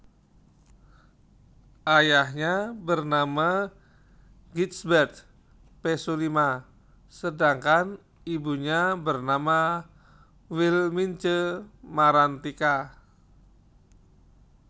Ayahnya bernama Gijsberth Pesulima sedangkan ibunya bernama Wilmintje Marantika